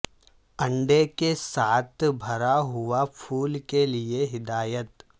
انڈے کے ساتھ بھرا ہوا پھول کے لئے ہدایت